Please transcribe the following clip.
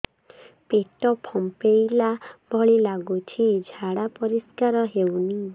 ପେଟ ଫମ୍ପେଇଲା ଭଳି ଲାଗୁଛି ଝାଡା ପରିସ୍କାର ହେଉନି